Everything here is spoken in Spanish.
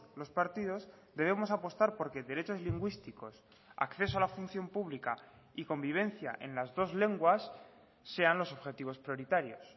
los partidos debemos apostar porque derechos lingüísticos acceso a la función pública y convivencia en las dos lenguas sean los objetivos prioritarios